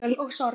Kvöl og sorg